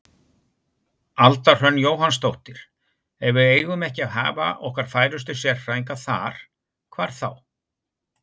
Alda Hrönn Jóhannsdóttir: Ef við eigum ekki að hafa okkar færustu sérfræðinga þar, hvar þá?